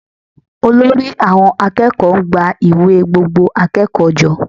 Olórí àwọn akẹ́kọ̀ọ́ ń gba ìwé gbogbo akẹ́kọ̀ọ́ jọ